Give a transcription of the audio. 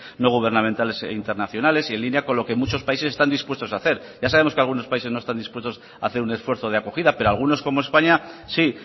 no gubernamentales internacionales y en línea con lo que muchos países están dispuestos a hacer ya sabemos que algunos países no están dispuestos a hacer un esfuerzo de acogida pero algunos como españa sí